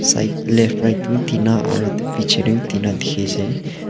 side left right vi tina aru pichey tae vi tina dekhi ase.